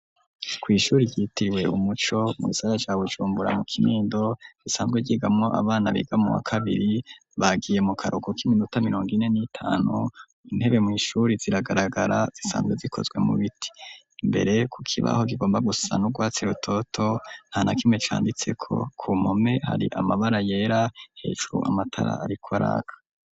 Ku ishure ryitiriwe umuco mu gisaka ca Bujumbura mu kinendo risanzwe ryigamwo abana biga mu wa kabiri bagiye mu karuhuko kiminota mirongo ine nitanu intebe mw'ishure ziragaragara zisanzwe zikozwe mu biti imbere ku kibaho rugomba gusa n'urwatsi rutoto nta nakimwe canditse ko ku mpome hari amabara yera hejuru amatara ariko araka.